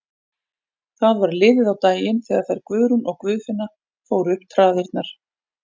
Það var liðið á daginn þegar þær Guðrún og Guðfinna fóru upp traðirnar.